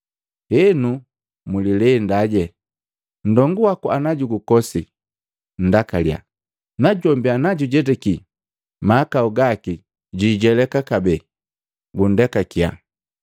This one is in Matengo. Henu mulilenda! “Nndongu waku najukukosi, nndakalya, najombi najujetaki mahakau gaki jijeleka kabee, gundekakiya.